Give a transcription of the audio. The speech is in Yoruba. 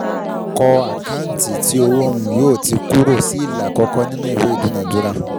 Kọ́ àkáǹtì tí owó um yóò ti kúrò sí ìlà àkọ́kọ́ ìnú ìwé idúnadúrà.